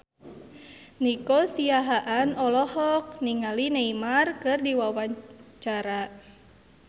Nico Siahaan olohok ningali Neymar keur diwawancara